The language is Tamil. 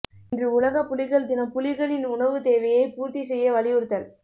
இன்று உலக புலிகள் தினம் புலிகளின் உணவு தேவையை பூர்த்தி செய்ய வலியுறுத்தல்